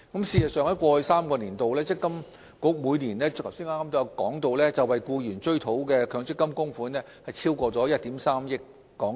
事實上，正如我剛才提到，積金局於過去3個年度，每年為僱員追討的強積金供款超過1億 3,000 萬港元。